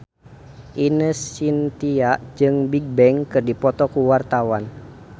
Ine Shintya jeung Bigbang keur dipoto ku wartawan